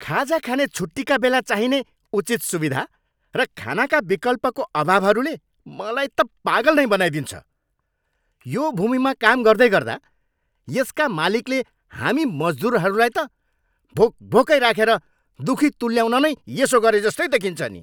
खाजा खाने छुट्टीका बेला चाहिने उचित सुविधा र खानाका विकल्पको अभावहरूले मलाई त पागल नै बनाइदिन्छ। यो भूमिमा काम गर्दैगर्दा यसका मालिकले हामी मजदुरहरूलाई त भोक भोकै राखेर दुखी तुल्याउन नै यसो गरेजस्तै देखिन्छ नि।